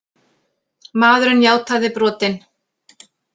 Maðurinn játaði brotin